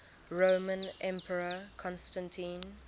roman emperor constantine